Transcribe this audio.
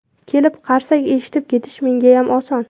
Kelib, qarsak eshitib ketish mengayam oson.